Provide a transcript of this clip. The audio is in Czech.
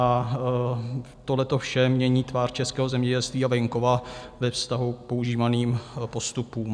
A tohleto vše mění tvář českého zemědělství a venkova ve vztahu k používaným postupům.